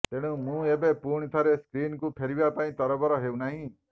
ତେଣୁ ମୁଁ ଏବେ ପୁଣି ଥରେ ସ୍କ୍ରିନ୍କୁ ଫେରିବା ପାଇଁ ତରବର ହେଉନାହିଁ